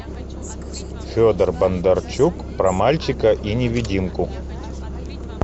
федор бондарчук про мальчика и невидимку